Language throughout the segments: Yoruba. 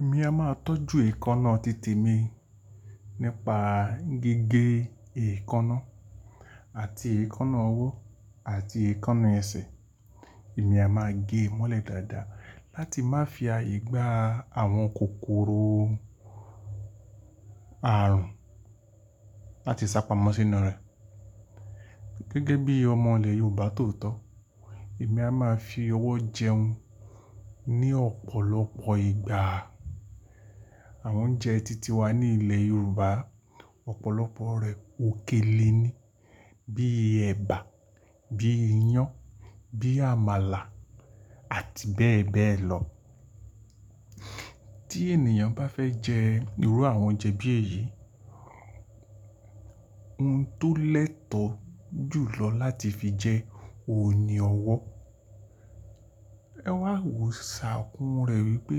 Èmi a máa tọ́jú èékánná titi mi nípa gígé èékánná àti èékánná ọwọ́ àti èékánná ẹsẹ̀. Èmi a máa gé mọ́lẹ̀ dáadáa láti má fi ààyè gba àwọn kòkòrò àrùn láti sá pamọ́ sínú rẹ̀. Gẹ́gẹ́ bí ọmọ ilẹ̀ Yorùbá tòótọ́, èmi a máa fi ọwọ́ jẹun ní ọ̀pọ̀lọpọ̀ ìgbà. Àwọn oúnjẹ titi wa ní ilẹ̀ Yorùbá, ọ̀pọ̀lọpọ̀ rẹ̀ òkèlè ni bíi ẹ̀bà, bíi iyán, bíi àmàlà àti bẹ́ẹ̀ bẹ́ẹ̀ lọ. Tí ènìyàn bá fẹ́ jẹ irú àwọn oúnjẹ bí èyí, ohun tó lẹ́tọ̀ jùlọ láti fi jẹ òun ni ọwọ́. Ẹwà wo sáàkún rẹ̀ wípé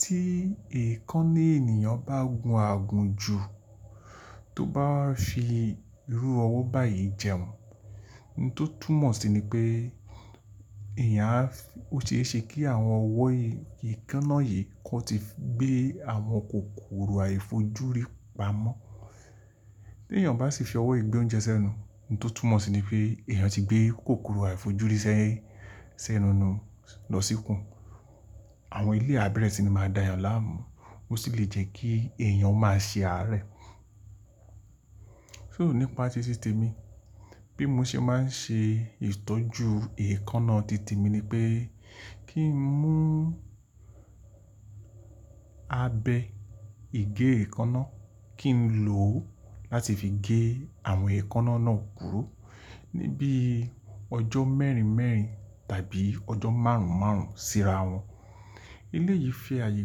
tí èékánná ènìyàn bá gùn àgùn jù, tó bá fi irú ọwọ́ báyìí jẹun, ohun tó túmọ̀ sí ni pé èèyàn á fi-- ó ṣe é ṣe kí àwọn ọwọ́ èékánná yìí kó ti gbé àwọn kòkòrò àìfojúrí pamọ́. Tí ènìyàn bá sì fi ọwọ́ gbé oúnjẹ sẹ́nu, ohun tó túmọ̀ sí ni pé èèyàn ti gbé kòkòrò àìfojúrí sẹ́ sẹ́nu lo lọ síkun. Àwọn eleyi abẹ́rẹ́ sì ni máa dá èèyàn láàmú, ó sì lè jẹ́ kí èèyàn máa ṣe àárẹ̀. So nípa títí tì mi, bí mo ṣe máa ń ṣe ìtọ́jú èékánná tite mi ni pé kí n mú abẹ igé èékánná, kí n lò ó láti fi gé àwọn èékánná náà kúrò níbí ọjọ́ mẹ́rin mẹ́rin tàbí ọjọ́ márùn-ún márùn-ún síra wọn. Ele yìí fi ààyè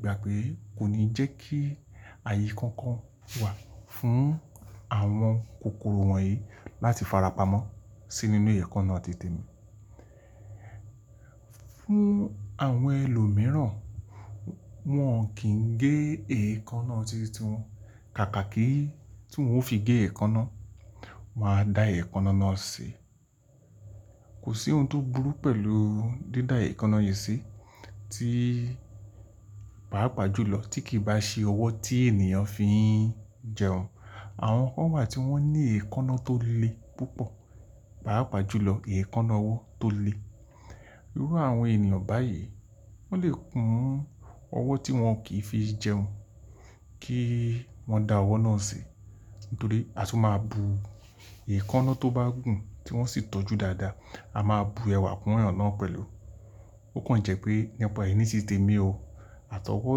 gbà pé kò ní jẹ́ kí ààyè kankan wà fún àwọn kòkòrò wọ̀nyí láti farapa mọ́ sínú inú èékánná tite mi. Fún àwọn ẹlòmíràn, wọ́n kì í gé èékánná titi wọn. Kàkà kí tí wọ́n ó fi gé èékánná, wọ́n á da èékánná náà si Kò sí ohun tó burú pẹ̀lú dídá èékánná yìí sí tí pàápàá jùlọ tí kì í bá ṣe ọwọ́ tí ènìyàn fi ń jẹun. Àwọn kan wà tí wọ́n ní èékánná tó le púpọ̀, pàápàá jùlọ èékánná ọwọ́ tó le. Irú àwọn ènìyàn báyìí, wọ́n lè kùn ọwọ́ tí wọn kì í fi jẹun kí wọ́n dá ọwọ́ náà si Nítorí a tún máa bu èékánná tó bá gùn tí wọ́n sì tọ́jú dáadáa, a máa bu ẹwà kún ẹyàn náà pẹ̀lú. Ó kàn jẹ́ pé nípa ìní tìte mi o, àtọwọ́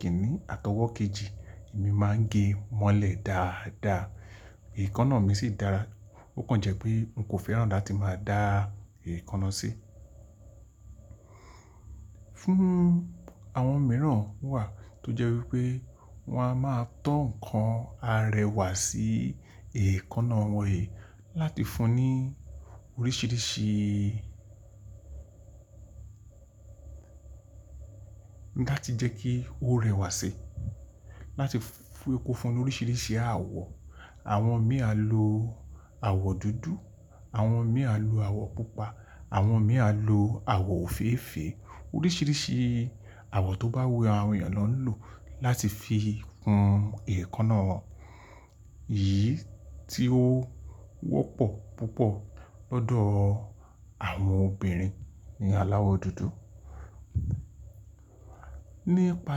kìní àtọwọ́ kejì, èmi máa ń gé mọ́lẹ̀ dáadáa, èékánná mi sì dára. Ó kàn jẹ́ pé n kò fẹ́ràn la tí máa dá èékánná sí. Fún àwọn mìíràn wà tó jẹ́ wípé wọ́n á máa tọ́ ǹkan arẹwà sí èékánná wọn yìí láti fún un ní oríṣìíríṣìí láti jẹ́ kí ó rẹwà sí i, láti fún kó fún ni oríṣìíríṣìí àwọ̀. Àwọn mìí alo àwọ̀ dúdú, àwọn mìíràn lu àwọ̀ pupa, àwọn mìíràn lu àwọ̀ òféèfé, oríṣìíríṣìí àwọ̀ tó bá wù àwọn èèyàn náà lò láti fi kun èékánná wọn. Èyí tí ó wọ́pọ̀ púpọ̀ lọ́dọ̀ àwọn obìnrin ni àláwọ̀ dúdú. Nípa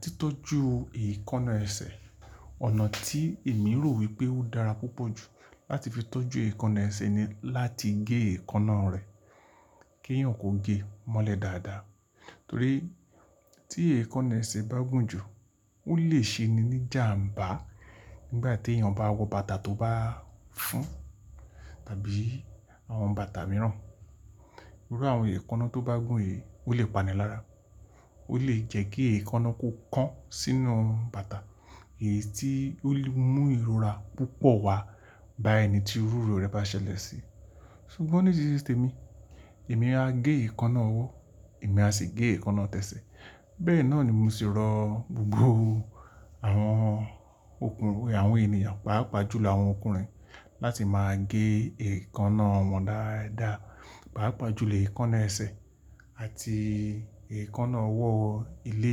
títọ́jú èékánná ẹsẹ̀, ọ̀nà tí èmi rò wípé ó dára púpọ̀ jù láti fi tọ́jú èékánná ẹsẹ̀ ni láti gé èékánná rẹ̀ kí èèyàn kó gé mọ́lẹ̀ dáadáa. Torí tí èékánná ẹsẹ̀ bá gùn jù, ó lè ṣe ni níjàǹbá nígbà tí èèyàn bá wọ bàtà tó bá fún tàbí àwọn bàtà mìíràn. Irú àwọn èékánná tó bá gùn yìí ó lè panilára. Ó lè jẹ́ kí èékánná kó kan sínú bàtà èyí tí ó lè mú ìrora púpọ̀ wá bá ẹni tí iru rẹ̀ bá ṣẹlẹ̀ sí i. Sugbọn nítiti te mi, èmi a gé èékánná ọwọ́, èmi a sì gé èékánná tẹsẹ̀. Bẹ́ẹ̀ náà ni mo sì rọ gbogbo àwọn òkú àwọn ènìyàn, pàápàá jùlọ àwọn ọkùnrin láti máa gé èékánná wọn dáadáa, pàápàá jùlọ èékánná ẹsẹ̀ àti èékánná ọwọ́ ilé.